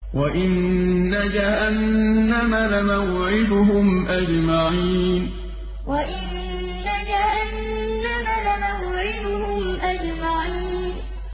وَإِنَّ جَهَنَّمَ لَمَوْعِدُهُمْ أَجْمَعِينَ وَإِنَّ جَهَنَّمَ لَمَوْعِدُهُمْ أَجْمَعِينَ